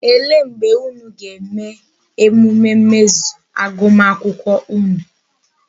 Ele mgbe unu ga-eme emume mmezu agụmakwụkwọ unu?